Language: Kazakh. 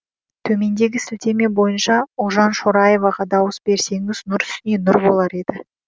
төмендегі сілтеме бойынша ұлжан шораеваға дауыс берсеңіз нұр үстіне нұр болар еді